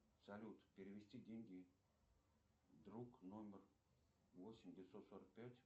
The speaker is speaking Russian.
салют перевести деньги друг номер восемь девятьсот сорок пять